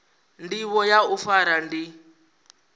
ndivho ya u fara ndi